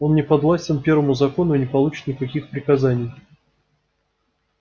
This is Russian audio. он не подвластен первому закону и не получит никаких приказаний